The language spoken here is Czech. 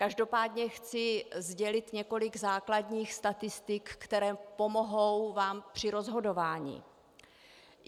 Každopádně chci sdělit několik základních statistik, které vám pomohou při rozhodování.